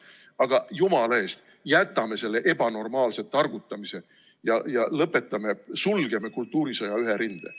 Aga jumala eest, jätame selle ebanormaalse targutamise ja sulgeme kultuurisõja ühe rinde.